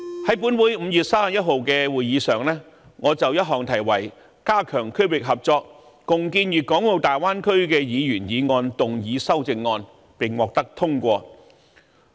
在本會5月31日的會議上，我曾就題為"加強區域合作，共建粵港澳大灣區"的議員議案動議修正案，並獲得通過。